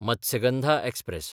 Matsyagandha express